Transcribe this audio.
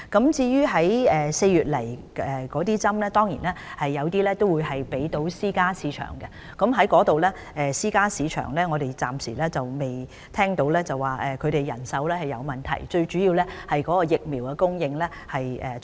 至於4月到港的疫苗，有部分會分配到私營市場，我們暫時沒有聽到私營醫療市場有人手短缺的問題，現時最主要的問題是疫苗供應是否充足。